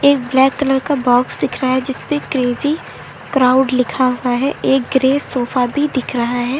एक black colour का box दिख रहा है जिस पे क्रेज़ी क्राउड लिखा हुआ है एक ग्रे सोफा भी दिख रहा है।